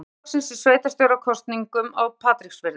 Sjálfstæðisflokksins í sveitarstjórnarkosningum á Patreksfirði.